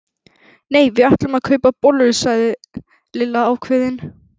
Nei, við ætlum að kaupa bollur sagði Lilla ákveðin.